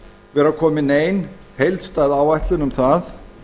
vera komin nein heildstæð áætlun um það